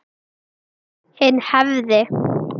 Hinn hefði